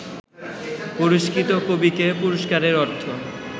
পুরস্কৃত কবিকে পুরস্কারের অর্থ